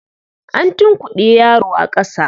An tunkuɗe yaro a ƙasa.